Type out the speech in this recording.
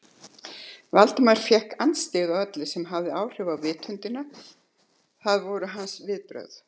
Valdimar fékk andstyggð á öllu sem hafði áhrif á vitundina, það voru hans viðbrögð.